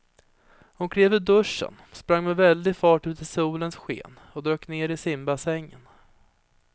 Hon klev ur duschen, sprang med väldig fart ut i solens sken och dök ner i simbassängen.